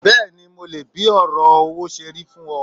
Bẹ́ẹ̀ni mo leè bí òrò owó serí fún o